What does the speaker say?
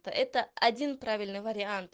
это один правильный вариант